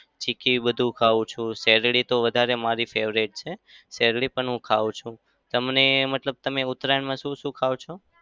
ચીક્કી બધું ખાવ છું. શેરડી તો વધારે મારી favourite છે. શેરડી પણ હું ખાઉં છું. તમને મતલબ તમે ઉતરાયણમાં શું શું ખાઓ છો?